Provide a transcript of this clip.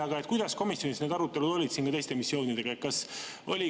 Aga kuidas komisjonis need arutelud olid teiste missioonide puhul?